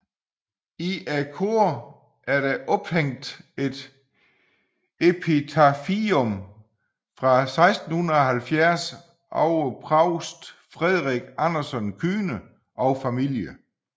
I koret er ophængt et epitafium fra 1670 over provst Friderick Andersen Klyne og familie